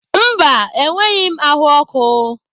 Mba, enweghị m ahụ ọkụ.